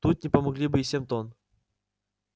тут не помогли бы и семь тонн